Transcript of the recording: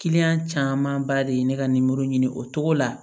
camanba de ye ne ka nimoro ɲini o cogo la